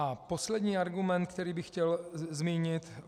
A poslední argument, který bych chtěl zmínit.